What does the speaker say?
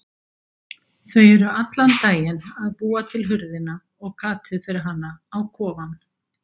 Þau eru allan daginn að búa til hurðina og gatið fyrir hana á kofann.